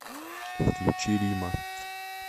включи рима